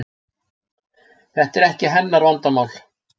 Þetta er ekki hennar vandamál.